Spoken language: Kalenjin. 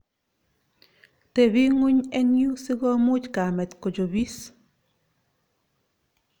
Tepi ngony eng yu si komuch kamet kochopis